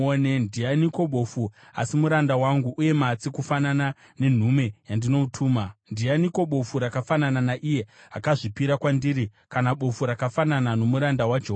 Ndianiko bofu, asi muranda wangu, uye matsi kufanana nenhume yandinotuma? Ndianiko bofu rakafanana naiye akazvipira kwandiri, kana bofu rakafanana nomuranda waJehovha?